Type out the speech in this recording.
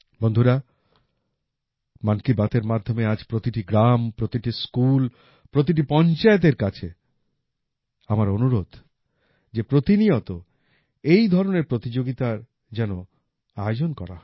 বন্ধুরা মন কি বাত এর মাধ্যমে আজ প্রতিটি গ্রাম প্রতিটি স্কুল প্রতিটি পঞ্চায়েতের কাছে আমার অনুরোধ যে প্রতিনিয়ত এই ধরনের প্রতিযোগিতার যেন আয়োজন করা হয়